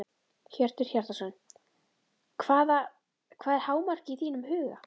Hjörtur Hjartarson: Hvaða, hvað er hámarkið í þínum huga?